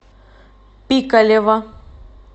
пикалево